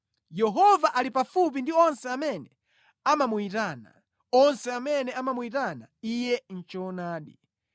Yehova ali pafupi ndi onse amene amamuyitana, onse amene amamuyitana Iye mʼchoonadi.